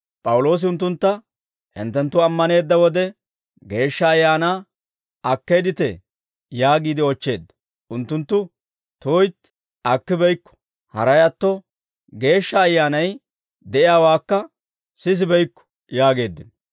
P'awuloosi unttuntta, «Hinttenttu ammaneedda wode Geeshsha Ayaanaa akkeedditee?» yaagiide oochcheedda. Unttunttu, «Tuytti, akkibeykko; haray atto, Geeshsha Ayyaanay de'iyaawaakka sisibeykko» yaageeddino.